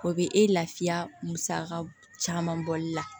O bɛ e lafiya musaka caman bɔli la